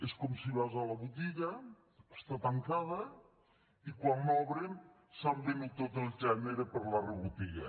és com si vas a la botiga està tancada i quan l’obren s’han venut tot el gènere per la rebotiga